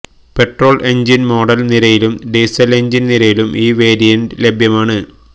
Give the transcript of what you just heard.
petrol engine model നിരയിലും diesel engine നിരയിലും ഈ വേരിയന്റ് ലഭ്യമാണ്